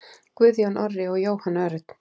Guðjón Orri og Jóhann Örn.